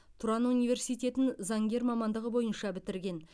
тұран университетін заңгер мамандығы бойынша бітірген